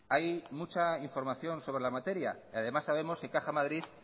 hay mucha información sobre la materia y además sabemos que caja madrid